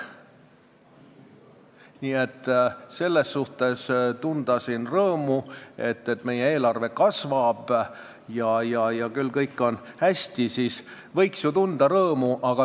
Nii et selle üle, et meie eelarve kasvab ja kõik on hästi, võiks ju siin rõõmu tunda.